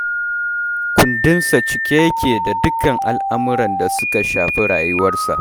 Kundinsa cike yake da dukkan al'amuran da suka shafi rayuwarsa